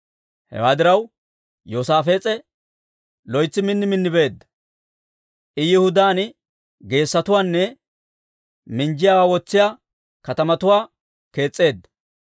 Hewaa diraw, Yoosaafees'e loytsi min min beedda. I Yihudaan geessotuwaanne minjjiyaawaa wotsiyaa katamatuwaa kees's'eedda.